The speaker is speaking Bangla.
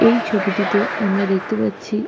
এই ছবিটিতে আমরা দেখতে পাচ্ছি--